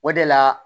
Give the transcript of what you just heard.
O de la